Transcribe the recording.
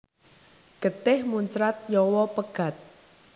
Getih muncrat nyawa pegat